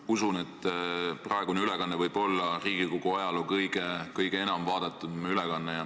Ma usun, et praegune ülekanne võib olla Riigikogu ajaloo kõige enam vaadatud ülekanne.